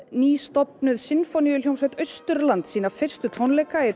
nýstofnuð Sinfóníuhljómsveit Austurlands sína fyrstu tónleika í